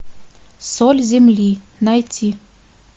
соль земли найти